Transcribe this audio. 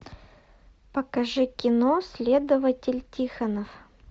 покажи кино следователь тихонов